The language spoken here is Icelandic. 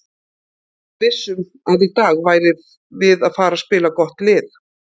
Við vissum að í dag værum við að fara spila við gott lið.